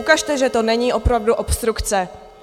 Ukažte, že to není opravdu obstrukce.